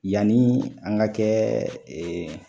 Yanni an ga kɛ